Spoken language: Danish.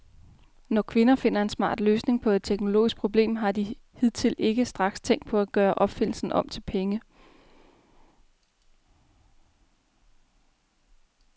Når kvinder finder en smart løsning på et teknologisk problem, har de hidtil ikke straks tænkt på at gøre opfindelsen om til penge.